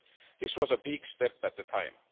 This was a big step at the time.